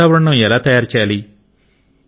ఈ వాతావరణము ఎలా తయారు చేయాలి